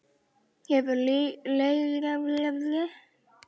Hefur leiga skilað sér?